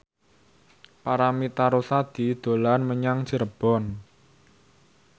Paramitha Rusady dolan menyang Cirebon